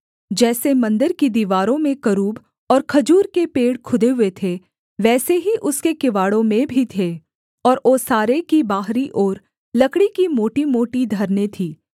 जैसे मन्दिर की दीवारों में करूब और खजूर के पेड़ खुदे हुए थे वैसे ही उसके किवाड़ों में भी थे और ओसारे की बाहरी ओर लकड़ी की मोटीमोटी धरनें थीं